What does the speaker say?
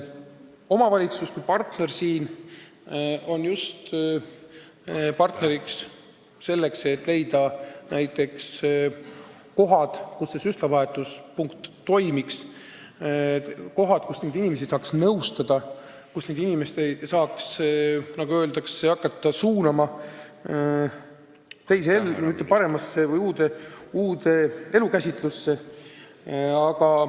Omavalitsus kui partner on siin partneriks just selleks, et leida näiteks kohad, kus süstlavahetuspunkt toimiks, kohad, kus neid inimesi saaks nõustada, nagu öeldakse, ja hakata suunama teise ellu, parema või uue elukäsitluse poole.